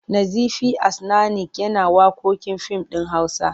Nazifi As'nanik yana waƙoƙin fim ɗin Hausa.